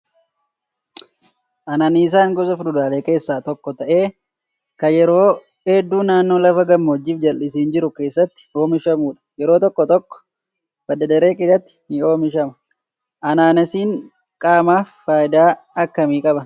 Anaanaasiin gosa fuduraalee keessaa tokko ta'ee kan yeroo hedduu naannoo lafa gammoojjii fi jalisiin jiru keessatti oomishamudha. Yeroo tokko tokko badda daree keessatti ni oomishama. Anaanaasiin qaamaaf fayidaa akkamii qaba?